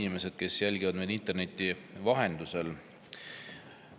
Head inimesed, kes te jälgite meid interneti vahendusel!